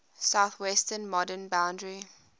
southwestern modern boundary